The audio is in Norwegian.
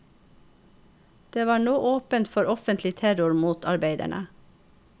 Det var nå åpent for offentlig terror mot arbeiderne.